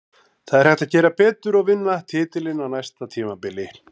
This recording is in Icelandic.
Það er hægt að gera betur og vinna titilinn á næsta tímabili.